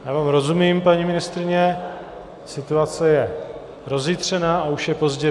Já vám rozumím, paní ministryně, situace je rozjitřená a už je pozdě.